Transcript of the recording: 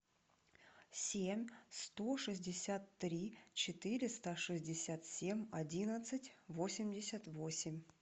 семь сто шестьдесят три четыреста шестьдесят семь одиннадцать восемьдесят восемь